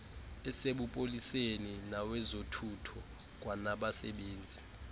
asebupoliseni nawezothutho kwanabasebenzi